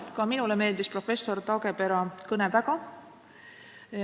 Ka minule meeldis professor Taagepera kõne väga.